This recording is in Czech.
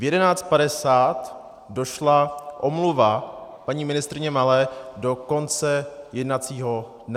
V 11.50 došla omluva paní ministryně Malé do konce jednacího dne.